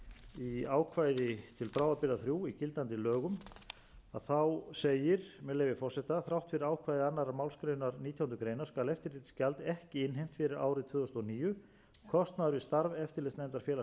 ákvæði til bráðabirgða þrjú í gildandi lögum segir með leyfi forseta þrátt fyrir ákvæði annarrar málsgreinar nítjánda grein skal eftirlitsgjald ekki innheimt fyrir árið tvö þúsund og níu kostnaður við starf eftirlitsnefndar félags fasteignasala á árinu